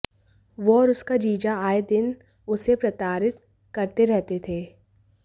वो और उसका जीजा आए दिन उसे प्रताड़ित करते रहते थे